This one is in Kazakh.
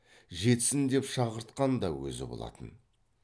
жетсін деп шақыртқан да өзі болатын